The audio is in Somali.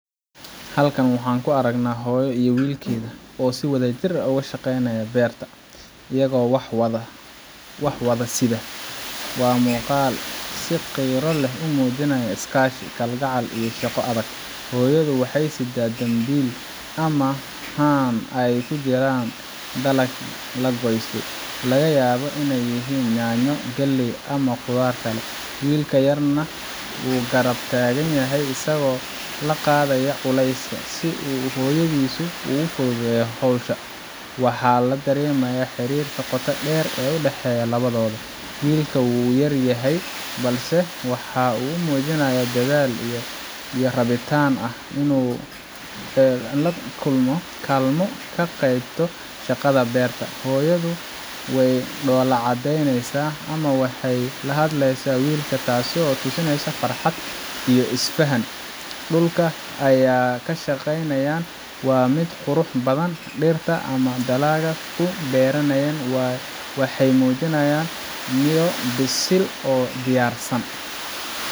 Halkan waxaan ku arkaynaa hooyo iyo wiilkeeda oo si wadajir ah uga shaqaynaya beerta, iyagoo wax wada sida. Waa muuqaal si qiiro leh u muujinaya iskaashi, kalgacal, iyo shaqo adag. Hooyadu waxay siddaa dambiil ama haan ay ku jiraan dalag la goostay laga yaabo inay yihiin yaanyo, galley ama khudaar kale. Wiilka yarna wuu garab taagan yahay, isagoo la qaadaya culayska, si uu hooyadiis u fududeeyo hawsha. Waxaa la dareemayaa xiriirka qotada dheer ee u dhexeeya labadooda. Wiilka wuu yar yahay, balse waxa uu muujinayaa dadaal iyo rabitaan ah inuu kaalmo ka geysto shaqada beerta. Hooyadu way dhoola cadeynaysaa ama waxay la hadlaysaa wiilka, taasoo tusinaysa farxad iyo is faham. Dhulka ay ka shaqaynayaan waa mid qurux badan, dhirta ama dalagga ku beernayna waxay muujinayaan midho bisil oo diyaarsan.